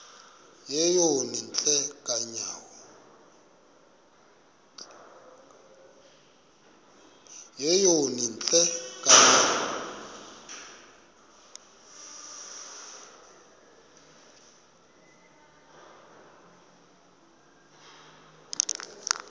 yeyom hle kanyawo